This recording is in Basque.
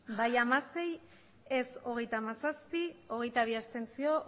bai hamasei ez hogeita hamazazpi abstentzioak